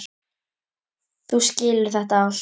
Þú skilur þetta allt.